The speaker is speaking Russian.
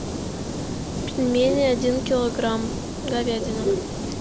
пельмени один килограмм говядина